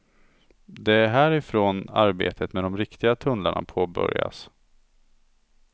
Det är härifrån arbetet med de riktiga tunnlarna påbörjas.